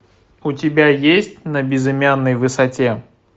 у тебя есть на безымянной высоте